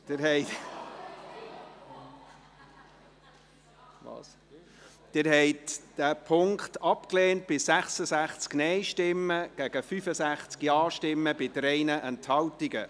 Sie haben den Punkt 3 abgelehnt mit 66 Nein- gegen 65 Ja-Stimmen bei 3 Enthaltungen.